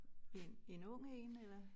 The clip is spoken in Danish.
En en ung én eller